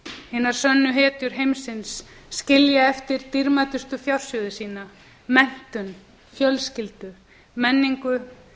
hinar sönnu hetjur heimsins skilja eftir á á dýrmætustu fjársjóði sína menntun fjölskyldu menningu